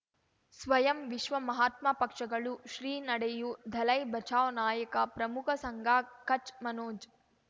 ಸ್ವಯಂ ವಿಶ್ವ ಮಹಾತ್ಮ ಪಕ್ಷಗಳು ಶ್ರೀ ನಡೆಯೂ ದಲೈ ಬಚೌ ನಾಯಕ ಪ್ರಮುಖ ಸಂಘ ಕಚ್ ಮನೋಜ್